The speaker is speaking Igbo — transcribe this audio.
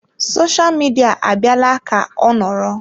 Sosha midia abịala ka ọ nọrọ.